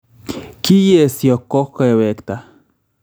Keyeesyo ko kewekta